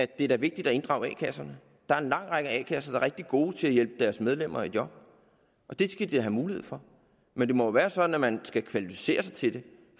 det er vigtigt at inddrage a kasserne der er en lang række a kasser der er rigtig gode til at hjælpe deres medlemmer i job og det skal de da have mulighed for men det må være sådan at man skal kvalificere sig til det